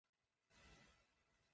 Hvernig hljómar það?